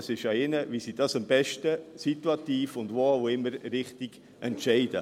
Es ist an ihnen, wie sie das am besten situativ und wo auch immer richtig entscheiden.